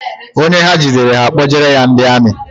Onye ha jidere, ha akpojere ya ndị amị